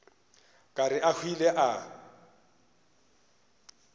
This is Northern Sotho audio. ka re a hwile a